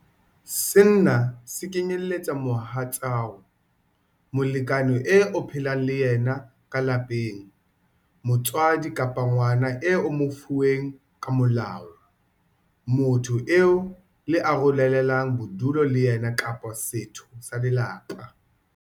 Sena se kenyeletsa mohatsao, molekane eo o phelang le yena ka lapeng, motswadi kapa ngwana eo o mo fuweng ka molao, motho eo le arolelanang bodulo le yena kapa setho sa lelapa.